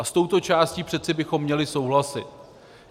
A s touto částí přeci bychom měli souhlasit.